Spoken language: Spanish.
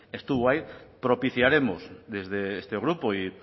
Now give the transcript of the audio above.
estuvo ahí propiciaremos desde este grupo